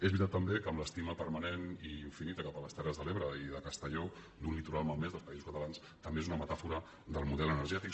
és veritat també que amb l’estima permanent i infinita cap a les terres de l’ebre i de castelló d’un litoral malmès dels països catalans també és una metàfora del model energètic